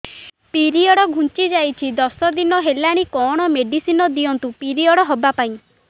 period ଘୁଞ୍ଚି ଯାଇଛି ଦଶ ଦିନ ହେଲାଣି କଅଣ ମେଡିସିନ ଦିଅନ୍ତୁ ପିରିଅଡ଼ ହଵା ପାଈଁ